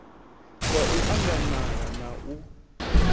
wa u anganala na u